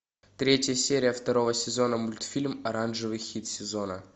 третья серия второго сезона мультфильм оранжевый хит сезона